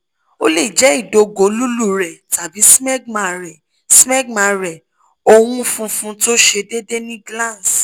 o le jẹ idogo lulú rẹ tabi smegma rẹ smegma rẹ owun funfun to se deede ni glans